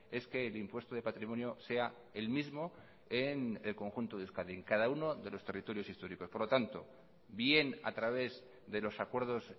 es que el impuesto de patrimonio sea el mismo en el conjunto de euskadi en cada uno de los territorios históricos por lo tanto bien a través de los acuerdos